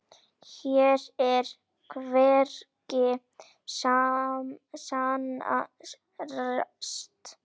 Hér og hvergi annars staðar.